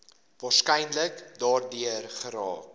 waarskynlik daardeur geraak